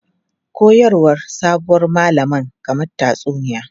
Koyarwar sabuwar malaman kamar tatsuniya.